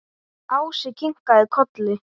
Ási kinkaði kolli.